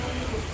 Sağ əyləş.